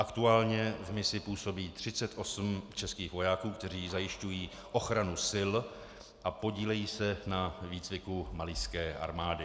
Aktuálně v misi působí 38 českých vojáků, kteří zajišťují ochranu sil a podílejí se na výcviku malijské armády.